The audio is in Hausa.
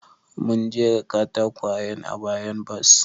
Mun jera katakwayen a bayan bas.